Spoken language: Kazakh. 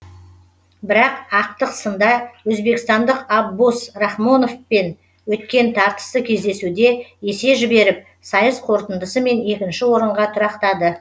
бірақ ақтық сында өзбекстандық аббос рахмоновпен өткен тартысты кездесуде есе жіберіп сайыс қорытындысымен екінші орынға тұрақтады